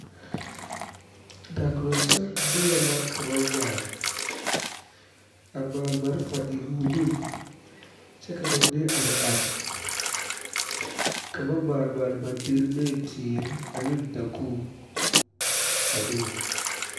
Dakoroŋ saŋ lɔɛ la ka ba maale a maale malfa e o nu kyɛ ka ba mine are are ka ba maale maale ba dire ne teere ane dakogiro a be be